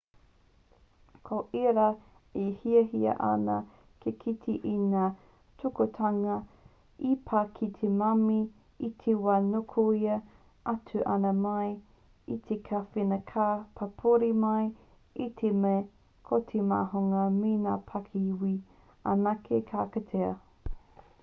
ko ērā e hiahia ana te kite i ngā tūkinotanga i pā ki te mami i te wā nukuhia atu ana mai i te kāwhena ka pāpouri mai i te mea ko te māhunga me ngā pakihiwi anake ka kitea